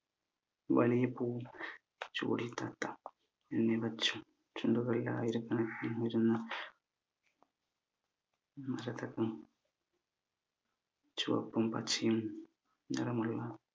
തലയിൽ പൂ ചൂടി എന്നിവ ചുണ്ടുകളിൽ ആയിരക്കണക്കിന് മരതകം ചുവപ്പും പച്ചയും നിറമുള്ള